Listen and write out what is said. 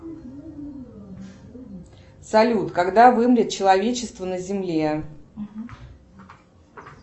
салют когда вымрет человечество на земле